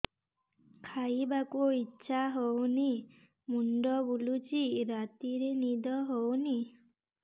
ଖାଇବାକୁ ଇଛା ହଉନି ମୁଣ୍ଡ ବୁଲୁଚି ରାତିରେ ନିଦ ହଉନି